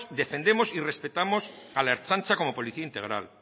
defendemos y respetamos a la ertzaintza como policía integral